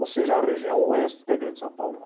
Ou seja, a região oeste da Grande São Paulo.